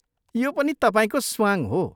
यो पनि तपाईंको स्वाँग हो।